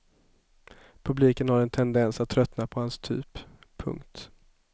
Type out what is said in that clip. Publiken har en tendens att tröttna på hans typ. punkt